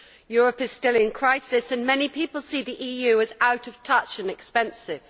Europe is still in crisis and many people see the EU as out of touch and expensive.